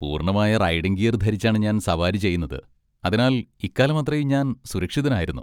പൂർണ്ണമായ riding gear ധരിച്ചാണ് ഞാൻ സവാരി ചെയ്യുന്നത്, അതിനാൽ ഇക്കാലമത്രയും ഞാൻ സുരക്ഷിതനായിരുന്നു.